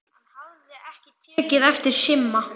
Hann hafði ekki tekið eftir Simma.